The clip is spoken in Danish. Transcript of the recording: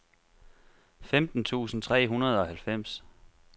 femten tusind tre hundrede og halvfems